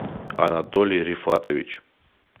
анатолий рифатович